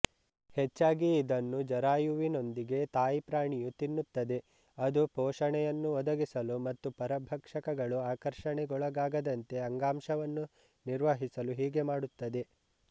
ಹೆಚ್ಚಾಗಿ ಇದನ್ನು ಜರಾಯುವಿನೊಂದಿಗೆ ತಾಯಿಪ್ರಾಣಿಯುತಿನ್ನುತ್ತದೆ ಅದು ಪೋಷಣೆಯನ್ನು ಒದಗಿಸಲು ಮತ್ತು ಪರಭಕ್ಷಕಗಳು ಆಕರ್ಷಣೆಗೊಳಗಾಗದಂತೆ ಅಂಗಾಂಶವನ್ನು ನಿರ್ವಹಿಸಲು ಹೀಗೆ ಮಾಡುತ್ತದೆ